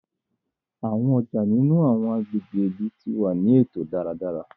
Awọn ọja nínú awọn agbègbè ìlú ti wá ni eto dáradára